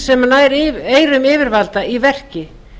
sem nær eyrum yfirvalda í verki